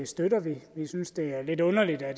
støtter vi vi synes det er lidt underligt at